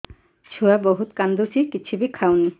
ଛୁଆ ବହୁତ୍ କାନ୍ଦୁଚି କିଛିବି ଖାଉନି